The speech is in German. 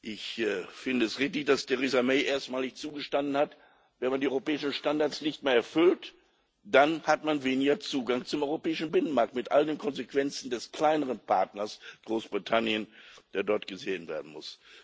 Ich finde es richtig, dass Theresa May erstmalig zugestanden hat Wenn man die europäischen Standards nicht mehr erfüllt, dann hat man weniger Zugang zum europäischen Binnenmarkt mit all den Konsequenzen des kleineren Partners Großbritannien, was dort gesehen werden muss.